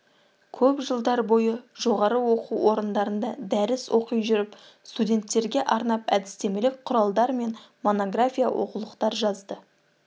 көп жылдар бойы жоғары оқу орындарында дәріс оқи жүріп студенттерге арнап әдістемелік құралдар мен монография оқулықтар жазды